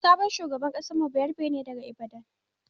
sabon shugaban mu bayarabe ne daga Ibadan.